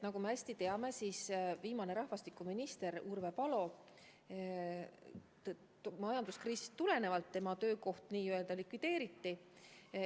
Nagu me hästi teame, eelmine rahvastikuminister oli Urve Palo, kelle ametikoht majanduskriisist tulenevalt n-ö likvideeriti.